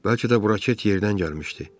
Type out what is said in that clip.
Bəlkə də bu raket yerdən gəlmişdi.